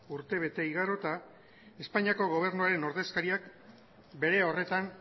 urtebete igarota espainiako gobernuaren ordezkariak bere horretan